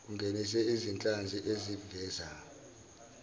ungenise izinhlanzi ezivela